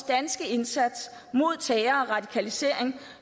danske indsats mod terror og radikalisering